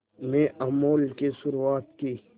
में अमूल की शुरुआत की